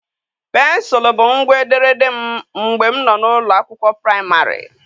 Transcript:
Pensụl bụ ngwa ederede m mgbe m nọ n'ụlọ akwụkwọ praịmarị.